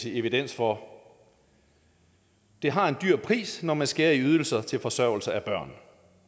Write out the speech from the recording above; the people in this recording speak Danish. evidens for det har en dyr pris når man skærer i ydelser til forsørgelse af børn